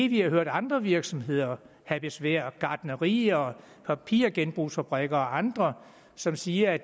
vi har hørt andre virksomheder have besvær gartnerier papirgenbrugsfabrikker og andre som siger at